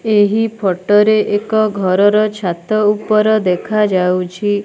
ଏହି ଫଟୋ ରେ ଏକ ଘରର ଛାତ ଉପର ଦେଖାଯାଉଛି।